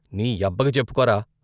నీ యబ్బకి చెప్పుకోరా?